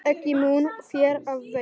Ekki mun þér af veita.